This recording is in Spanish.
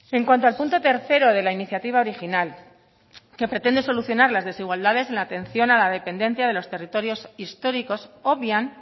en cuanto al punto tercero de la iniciativa original que pretende solucionar las desigualdades en la atención a la dependencia de los territorios históricos obvian